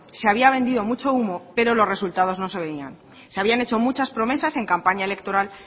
se había vendido mucho humo pero los resultados no se veían se habían hecho muchas promesas en campaña electoral